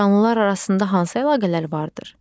Canlılar arasında hansı əlaqələr vardır?